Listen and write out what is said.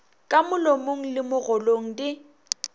ka molomong le mogolong di